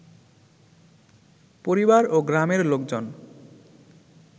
পরিবার ও গ্রামের লোকজন